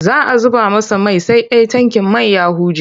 Za a zuba masa mai sai dai tankin man ya huje.